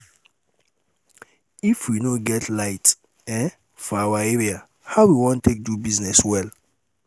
um if we no get um light um for our area how we wan take do business well?